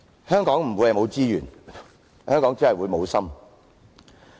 香港不會缺乏資源，香港只是會無心。